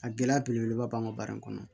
A gɛlɛya belebeleba b'an ka baara in kɔnɔ